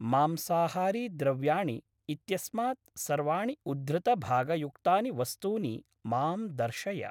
मांसाहारी द्रव्याणि इत्यस्मात् सर्वाणि उद्धृतभागयुक्तानि वस्तूनि मां दर्शय।